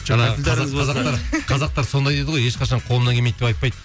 жаңа қазақ қазақтар қазақтар сондай дейді ғой ешқашан қолымнан келмейді деп айтпайды